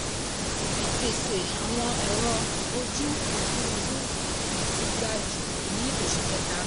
ìpèsè àwọn ẹ̀rọ ojú òfurufú ti ga jù ní oṣù kẹta.